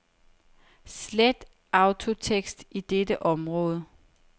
Slet autotekst i dette område.